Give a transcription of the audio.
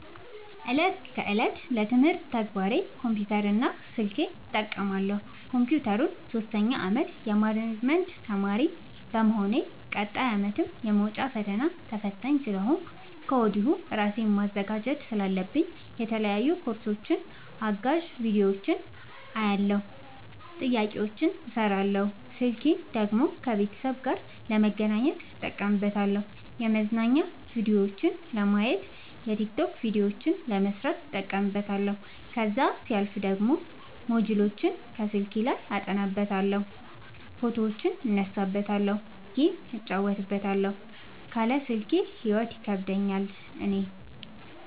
እለት ከእለት ለትምህርት ተግባር ኮምፒውተር እና ስልኬን እጠቀማለሁ። ኮንፒውተሩን ሶስተኛ አመት የማኔጅመት ተማሪ በመሆኔ ቀጣይ አመትም የመውጫ ፈተና ተፈታኝ ስለሆንኩኝ ከወዲሁ እራሴን ማዘጋጀት ስላለብኝ የተለያዩ ኮርሶችን አጋዝ ቢዲዮዎችን አያለሁ። ጥያቄዎችን እሰራለሁ። ስልኬን ደግሞ ከቤተሰብ ጋር ለመገናኘት እጠቀምበታለሁ የመዝናኛ ቭዲዮዎችን ለማየት። የቲክቶክ ቪዲዮዎችን ለመስራት እጠቀምበታለሁ። ከዛሲያልፍ ደግሞ ሞጅልዎችን አስልኬ አጠናበታለሁ። ፎቶዎችን እነሳበታለሀለ። ጌም እጫወትበታለሁ ካለ ስልኬ ሂይወት ይከብደኛል እኔ።